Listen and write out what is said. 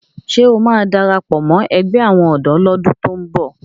Ṣé ó máa darapọ̀ mọ ẹgbẹ́ àwọn ọ̀dọ́ lọ́dún tó ń bọ̀?